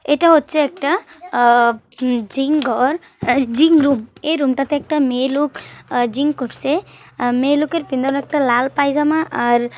এটা হচ্ছে একটা আ-জিম ঘরজিং রুম এই রুম টাতে একটা মেয়ে লোক জিং করছে মেয়েলোকের পিরনে একটা লাল পায়জামা আর--